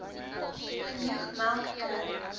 genoeg melk kry